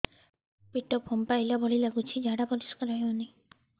ପେଟ ଫମ୍ପେଇଲା ଭଳି ଲାଗୁଛି ଝାଡା ପରିସ୍କାର ହେଉନି